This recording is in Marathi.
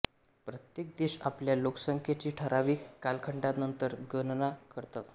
प्रत्येक देश आपल्या लोकसंख्येची ठरावीक कालखंडानंतर गणना करतो